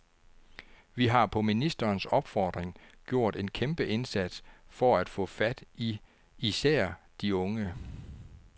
Vi har på ministerens opfordring gjort en kæmpe indsats for at få fat i især de unge.